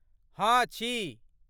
हँ, छी।